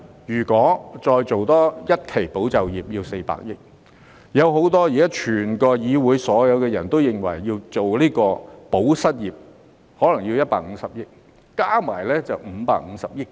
如果再推出多一期"保就業"需要400億元，加上現時議會內所有議員都爭取的"保失業"可能需要150億元，加起來總共約550億元。